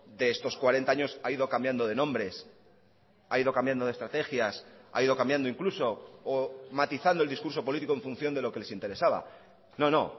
de estos cuarenta años ha ido cambiando de nombres ha ido cambiando de estrategias ha ido cambiando incluso o matizando el discurso político en función de lo que les interesaba no no